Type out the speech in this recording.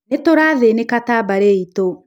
nĩtũrathĩnĩka ta mbarĩ itũ